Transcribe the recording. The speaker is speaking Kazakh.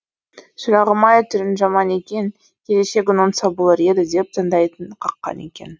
шырағым ай түрің жаман екен келешегің оңса болар еді деп таңдайын қаққан екен